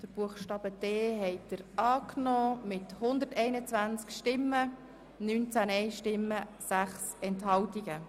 Sie haben den Buchstaben d angenommen mit 121 Ja- gegen 19 Nein-Stimmen bei 6 Enthaltungen.